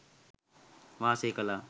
වාසය කළා.